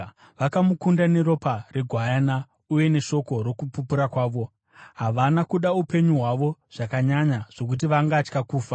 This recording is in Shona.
Vakamukunda neropa reGwayana uye neshoko rokupupura kwavo; havana kuda upenyu hwavo zvakanyanya zvokuti vangatya kufa.